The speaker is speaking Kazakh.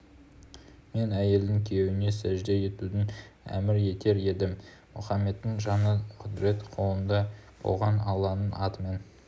мен әйелдің күйеуіне сәжде етуін әмір етер едім мұхаммедтің жаны құдірет қолында болған алланың атымен